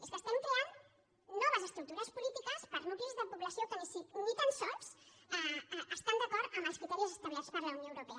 és que estem creant noves estructures polítiques per a nuclis de població que ni tan sols estan d’acord amb els criteris establerts per la unió europea